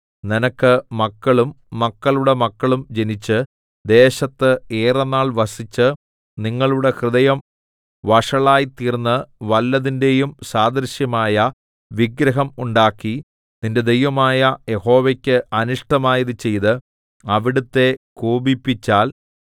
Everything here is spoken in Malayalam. നിനക്ക് മക്കളും മക്കളുടെ മക്കളും ജനിച്ച് ദേശത്ത് ഏറെനാൾ വസിച്ച് നിങ്ങളുടെ ഹൃദയം വഷളായിത്തീർന്ന് വല്ലതിന്റെയും സാദൃശ്യമായ വിഗ്രഹം ഉണ്ടാക്കി നിന്റെ ദൈവമായ യഹോവയ്ക്ക് അനിഷ്ടമായത് ചെയ്ത് അവിടുത്തെ കോപിപ്പിച്ചാൽ